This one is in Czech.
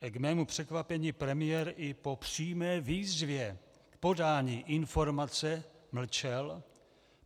K mému překvapení premiér i po přímé výzvě k podání informace mlčel.